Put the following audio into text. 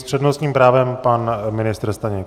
S přednostním právem pan ministr Staněk.